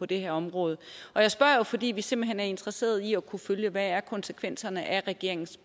det her område jeg spørger jo fordi vi simpelt hen er interesseret i at kunne følge hvad konsekvenserne af regeringens